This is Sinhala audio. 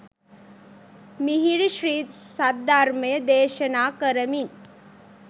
මිහිරි ශ්‍රී සද්ධර්මය දේශනා කරමින්